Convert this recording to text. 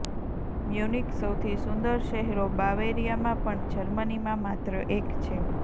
Munich સૌથી સુંદર શહેરો બાવેરિયા માં પણ જર્મનીમાં માત્ર એક છે